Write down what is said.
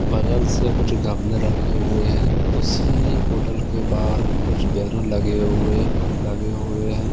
बगल से कुछ गमले रखे हुए हैं उसी होटल के बाहर कुछ बैनर लगे हुए अं लगे हुए हैं।